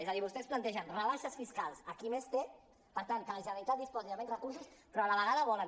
és a dir vostès plantegen rebaixes fiscals a qui més té per tant que la generalitat disposi de menys recursos però a la vegada volen